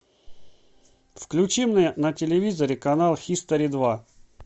включи мне на телевизоре канал хистори два